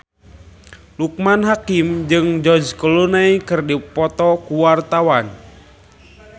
Loekman Hakim jeung George Clooney keur dipoto ku wartawan